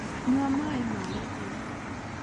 Nyua maĩ ma gĩthima